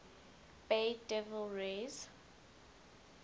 bay devil rays